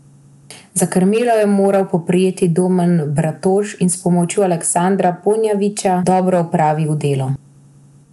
Za krmilo je moral poprijeti Domen Bratož in s pomočjo Aleksandra Ponjavića dobro opravil delo.